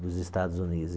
dos Estados Unidos.